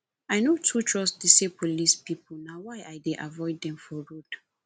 i no too trust dese police pipo na why i dey avoid dem for road